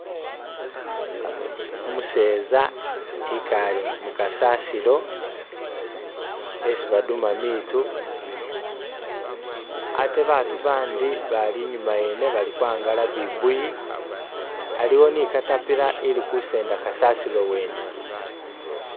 Umuseeza ekaale mukasasilo esi baduuma miitu ate baatu abandi bali inyuma wene bali kwangala bibuuyi. Aliwo ne katapila ili kusenda kasasilo wene